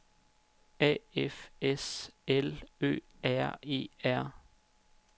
A F S L Ø R E R